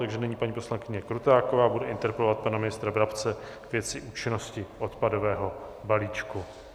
Takže nyní paní poslankyně Krutáková bude interpelovat pana ministra Brabce ve věci účinnosti odpadového balíčku.